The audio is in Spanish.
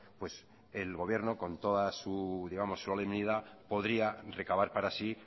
pues el gobierno con toda su solemnidad podría recabar para sí